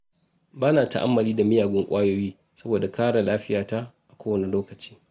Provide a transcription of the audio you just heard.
Ba na ta'ammali da miyagun ƙwayoyi saboda kare lafiyata a kowane lokaci.